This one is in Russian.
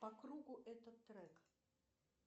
по кругу этот трек